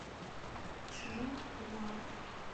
чжанхуа